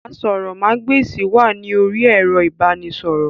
Àsòrọmagbesi wà ní orí ẹrọ ibanisọrọ.